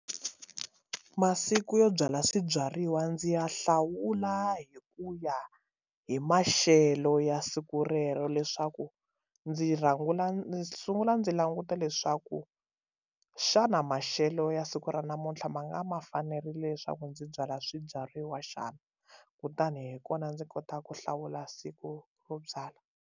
Ku masiku yo byala swibyariwa ndzi ya hlawula hi ku ya hi maxelo ya siku rero leswaku ndzi rhangela ndzi sungula ndzi languta vutisa leswaku xana maxelo ya siku ra namuntlha ma nga ma fanerile leswaku ndzi byala swibyariwa xana kutani hi kona ndzi kota ku hlawula siku ro byalwa.